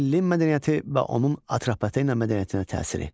Ellin mədəniyyəti və onun Atropatena mədəniyyətinə təsiri.